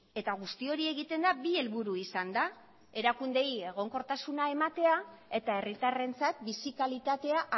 eta guzti hori egiten da bi helburu izanda erakundeei egonkortasuna ematea eta herritarrentzat bizi kalitatea